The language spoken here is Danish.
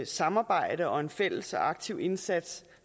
samarbejde og en fælles aktiv indsats